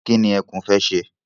Kí ni ẹkún fẹ́ ṣe?